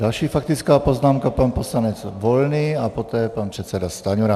Další faktická poznámka - pan poslanec Volný a poté pan předseda Stanjura.